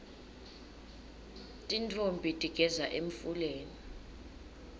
tintfombi tigeza emfuleni